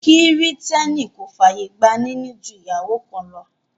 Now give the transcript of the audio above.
Kìrìtẹ́nì kò fàyè gba níní ju ìyàwó kan lọ